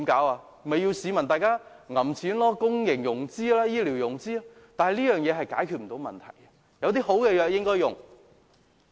那便要市民掏腰包、公營融資或醫療融資，但這樣是無法解決問題的，有好的方法便應採用。